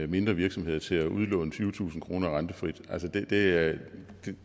mindre virksomheder til at udlåne tyvetusind kroner rentefrit det